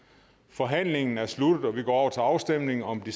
forhandlingen er sluttet og vi går over til afstemning om de